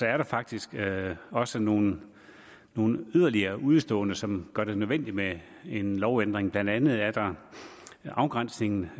er der faktisk også nogle yderligere udeståender som gør det nødvendigt med en lovændring blandt andet er der i afgrænsningen